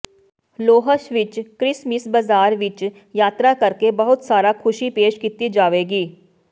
ਲੋਹਸ਼ ਵਿਚ ਕ੍ਰਿਸਮਸ ਬਾਜ਼ਾਰ ਵਿਚ ਯਾਤਰਾ ਕਰਕੇ ਬਹੁਤ ਸਾਰਾ ਖੁਸ਼ੀ ਪੇਸ਼ ਕੀਤੀ ਜਾਵੇਗੀ